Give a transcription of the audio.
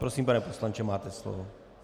Prosím, pane poslanče, máte slovo.